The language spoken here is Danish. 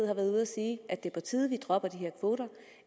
har været ude at sige at det er på tide at vi dropper de her kvoter